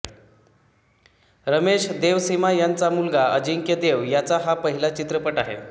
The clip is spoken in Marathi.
रमेश देवसीमा यांचा मुलगा अजिंक्य देव याचा हा पहिला चित्रपट आहे